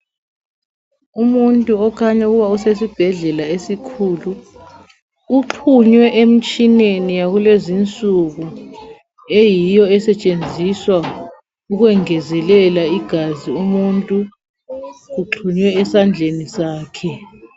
Umuntu okhanya ukuba usesibhedlela esikhulu, uxhunywe emtshineni yakulezi insuku eyiyo esetshenziswa ukwengezelela igazi umuntu, kuxhunywe esandleni sakhe.